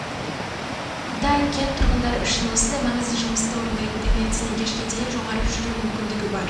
да кент тұрғындары үшін осындай маңызды жұмысты орындайтын тәңертеннен кешке дейін жоғары жүру мүмкіндігі бар